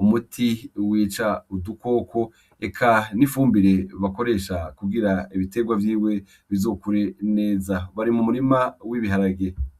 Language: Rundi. umuti wica udukoko , eka n'ifumbire bakoresha kugira ibiterwa vyiwe bizokure neza bari mu murima w'ibiharage.